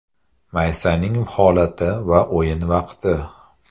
Maysaning holati va o‘yin vaqti?